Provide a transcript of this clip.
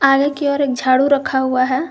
आगे की ओर एक झाड़ू रखा हुआ है।